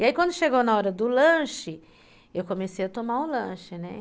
E aí quando chegou na hora do lanche, eu comecei a tomar o lanche, né?